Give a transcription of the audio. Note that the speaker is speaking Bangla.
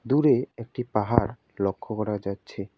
দূরে একটি পাহাড় লক্ষ করা যাচ্ছে।